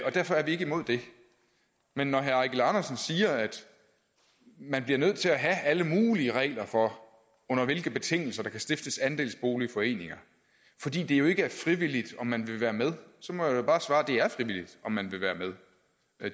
derfor er vi ikke imod det men når herre eigil andersen siger at man bliver nødt til at have alle mulige regler for under hvilke betingelser der kan stiftes andelsboligforeninger fordi det jo ikke er frivilligt om man vil være med så må jeg jo bare svare det er frivilligt om man vil være med